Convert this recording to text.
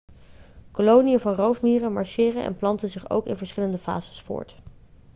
koloniën van roofmieren marcheren en planten zich ook in verschillende fases voort